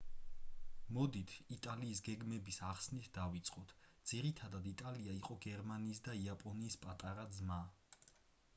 მოდით იტალიის გეგმების ახსნით დავიწყოთ ძირითადად იტალია იყო გერმანიისა და იაპონიის პატარა ძმა